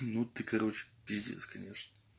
ну ты короче пиздец конечно